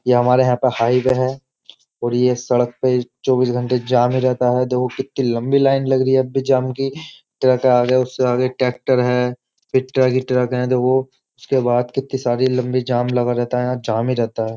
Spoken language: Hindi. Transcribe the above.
ये हमारे यहाँ पर हाईवे है और यह सड़क पे चौबीस घंटे जाम रहता ही है देखो कितनी लम्बी लाइन लग रही है अब भी जाम की ट्रक है उसके आगे ट्रेक्टर है फिर ट्रक ही ट्रक है देखो उसके बाद कितनी सारी लंबी जाम लगा रहता है यह जाम ही रहता है।